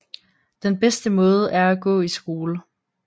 Den bedste måde er at gå i skole